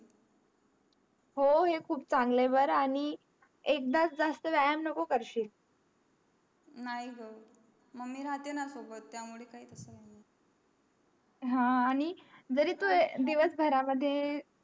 हो हे खूप चांगला आहे बारा आणि एकदाच जास्त व्यायाम नको करशील नाही ग मम्मी राहते ना सोबत त्या मुले काहीच हा नई जहरी तू दिवस भर मध्ये